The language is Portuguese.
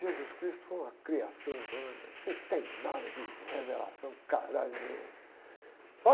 Jesus Cristo foi uma criação humana, que não tem nada de revelação, nenhum.